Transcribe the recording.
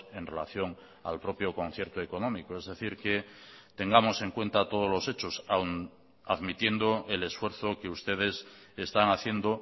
en relación al propio concierto económico es decir que tengamos en cuenta todos los hechos aun admitiendo el esfuerzo que ustedes están haciendo